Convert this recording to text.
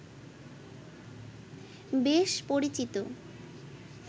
বেশ পরিচিত